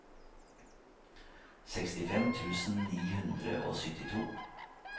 sekstifem tusen ni hundre og syttito